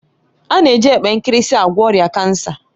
A na-eji epe nkirisi agwọ ọrịa kansa